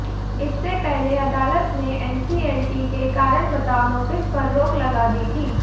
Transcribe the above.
इससे पहले अदालत ने एनसीएलटी के कारण बताओ नोटिस पर रोक लगा दी थी